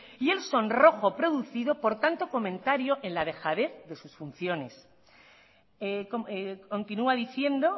y el sonrojo producido por tanto comentario en la dejadez de sus funciones continúa diciendo